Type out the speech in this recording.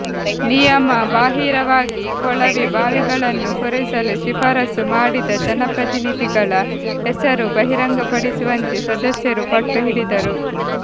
ನಿಯಮ ಬಾಹಿರವಾಗಿ ಕೊಳವೆ ಬಾವಿಗಳನ್ನು ಕೊರೆಸಲು ಶಿಫಾರಸು ಮಾಡಿದ ಜನಪ್ರತಿನಿಧಿಗಳ ಹೆಸರು ಬಹಿರಂಗಪಡಿಸುವಂತೆ ಸದಸ್ಯರು ಪಟ್ಟುಹಿಡಿದರು